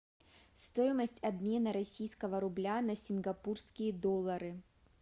стоимость обмена российского рубля на сингапурские доллары